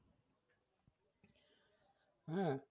হ্যাঁ